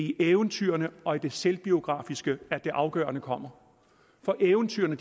i eventyrene og i det selvbiografiske at det afgørende kommer for eventyrene